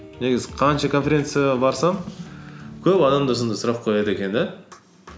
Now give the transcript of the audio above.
негізі қанша конференцияға барсам көп адамдар сондай сұрақ қояды екен де